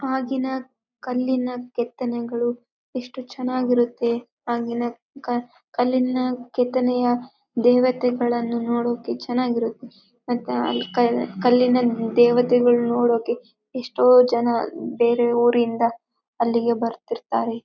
ಆಗಿನ ಕಲ್ಲಿನ ಕೆತ್ತನೆಗಳು ಎಷ್ಟು ಚೆನ್ನಾಗಿ ಇರುತ್ತೆ ಆಗಿನ ಕ ಕಲ್ಲಿನ ಕೆತ್ತನೆಯ ದೇವತೆಗಳನ್ನು ನೋಡೋಕ್ಕೆ ಚೆನ್ನಾಗಿ ಇರುತ್ತೆ ಮತ್ತೆ ಅಲ್ಲಿ ಕ ಕಲ್ಲಿನ ದೇವತೆಗಳನ್ ನೋಡೋಕ್ಕೆ ಎಷ್ಟೋ ಜನ ಬೇರೆ ಊರಿನಿಂದ ಅಲ್ಲಿಗೆ ಬರ್ತಿರ್ತಾರೆ.